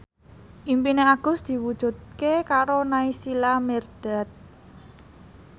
impine Agus diwujudke karo Naysila Mirdad